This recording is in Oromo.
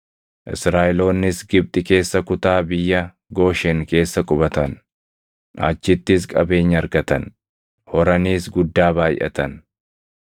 Israaʼeloonnis Gibxi keessa kutaa biyya Gooshen keessa qubatan. Achittis qabeenya argatan; horaniis guddaa baayʼatan.